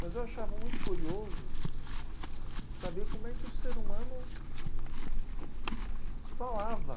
Mas eu achava muito curioso saber como é que o ser humano falava.